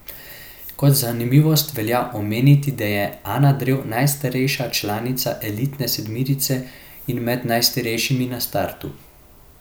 Kot zanimivost velja omeniti, da je Ana Drev najstarejša članica elitne sedmerice in med najstarejšimi na startu.